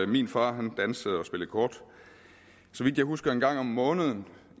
min far dansede og spillede kort så vidt jeg husker en gang om måneden